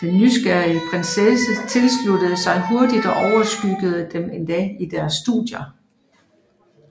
Den nysgerrige prinsesse tilsluttede sig hurtigt og overskyggede dem endda i deres studier